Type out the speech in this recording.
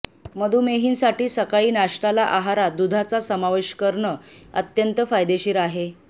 मधुमेहींसाठी सकाळी नाश्ताला आहारात दूधाचा समावेश करणं अत्यंत फायदेशीर आहे